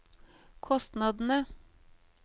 kostnadene